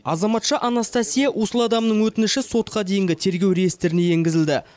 азаматша анастасия услуадамның өтініші сотқа дейінгі тергеу реестріне енгізілді